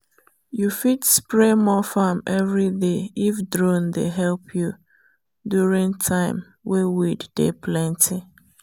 you fit spray more farm every day if drone dey help you during time wey weed dey plenty.